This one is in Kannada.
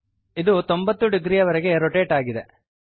ಇದು 90 ಡಿಗ್ರಿವರೆಗೆ ರೊಟೇಟ್ ಆಗಿದೆ